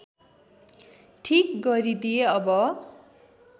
ठिक गरिदिएँ अब